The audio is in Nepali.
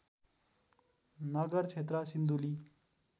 नगर क्षेत्र सिन्धुली